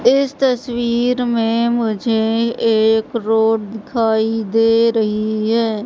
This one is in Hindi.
इस तस्वीर में मुझे एक रोड दिखाई दे रही है।